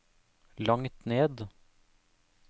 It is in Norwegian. langt ned